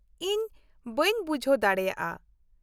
- ᱤᱧ ᱵᱟᱝ ᱵᱩᱡᱷᱟᱣ ᱫᱟᱲᱮᱭᱟᱜᱼᱟ ᱾